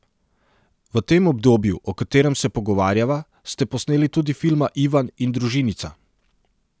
V tem obdobju, o katerem se pogovarjava, ste posneli tudi filma Ivan in Družinica.